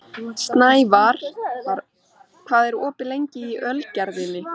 Snævarr, hvað er opið lengi í Ölgerðinni?